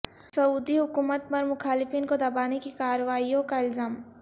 سعودی حکومت پر مخالفین کو دبانے کی کارروائیوں کا الزام